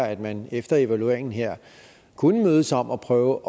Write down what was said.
at man efter evalueringen her kunne mødes om at prøve